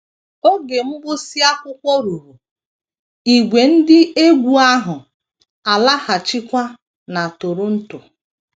Oge mgbụsị akwụkwọ ruru, ìgwè ndị egwú ahụ alaghachikwa na Toronto.